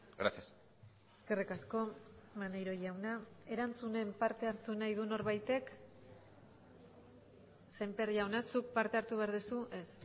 gracias eskerrik asko maneiro jauna erantzunen parte hartu nahi du norbaitek sémper jauna zuk parte hartu behar duzu ez